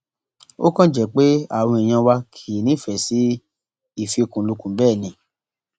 ó kàn jẹ pé àwọn èèyàn wa kì í nífẹẹ sí ìfikùnlukùn bẹẹ ni